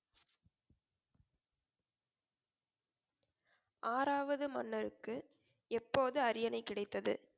ஆறாவது மன்னருக்கு எப்போது அரியணை கிடைத்தது